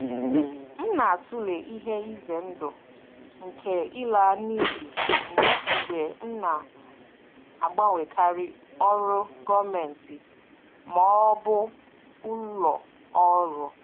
M na-atụle ihe ize ndụ nke ịla n'iyi mgbe m na-agbanwekarị ọrụ gọọmentị ma ọ bụ ụlọ ọrụ.